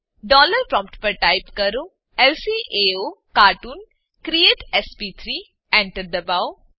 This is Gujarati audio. ડોલર પ્રોમ્પ્ટ પર ટાઈપ કરો લ્કાઓકાર્ટૂન ક્રિએટ એસપી3 Enter દબાવો